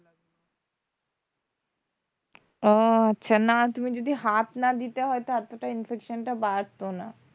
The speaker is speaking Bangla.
অ আচ্ছা না তুমি যদি হাত না দিতে হয়তো এতটা infection টা বাড়তো না।